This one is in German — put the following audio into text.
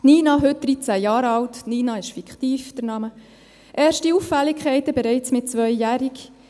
Nina, heute 13 Jahre alt – der Name Nina ist fiktiv –, erste Auffälligkeiten bereits mit 2-jährig.